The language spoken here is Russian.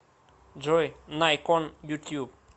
джой найкон ютюб